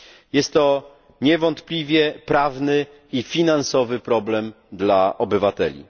Jest to niewątpliwie prawny i finansowy problem dla obywateli.